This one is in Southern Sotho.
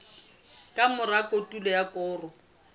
ka mora kotulo ya koro